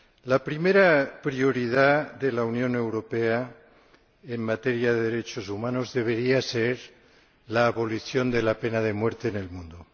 La primera prioridad de la Unión Europea en materia de derechos humanos debería ser la abolición de la pena de muerte en el mundo.